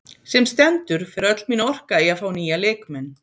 Sem stendur fer öll mín orka í að fá nýja leikmenn.